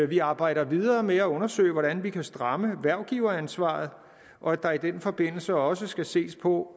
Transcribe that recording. vi arbejder videre med at undersøge hvordan vi kan stramme hvervgiveransvaret og at der i den forbindelse også skal ses på